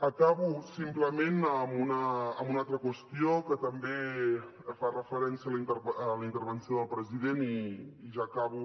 acabo simplement amb una altra qüestió que també fa referència a la intervenció del president i ja acabo